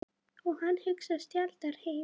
Og hann hugsaði sjaldnar heim.